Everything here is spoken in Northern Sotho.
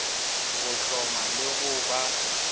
go hloma le go ba